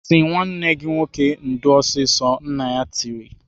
"Sị nwanne gị nwoke ndo ọsịsọ!" Nna ya tiri.